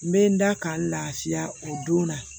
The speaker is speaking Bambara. N bɛ n da ka n lafiya o don na